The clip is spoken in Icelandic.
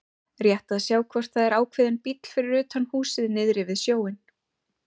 Rétt að sjá hvort það er ákveðinn bíll fyrir utan húsið niðri við sjóinn.